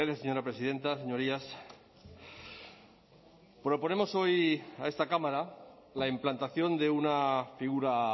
señora presidenta señorías proponemos hoy a esta cámara la implantación de una figura